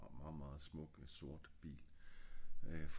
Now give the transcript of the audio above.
meget meget smuk sort bil øh